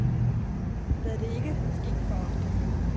Lad det ikke ske for ofte.